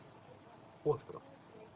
остров